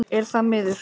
Er það miður.